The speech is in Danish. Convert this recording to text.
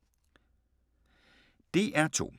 DR2